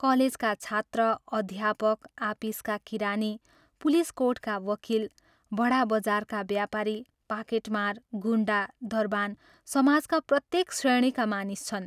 कलेजका छात्र, अध्यापक, आपिसका किरानी, पुलीस कोर्टका वकील, बडा बाजारका व्यापारी, पाकेटमार, गुण्डा, दरबान समाजका प्रत्येक श्रेणीका मानिस छन्।